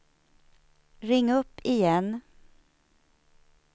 ring upp igen